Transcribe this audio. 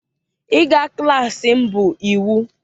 ịga klas m bụ iwu!